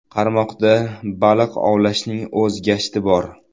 Qarmoqda baliq ovlashning o‘z gashti bor.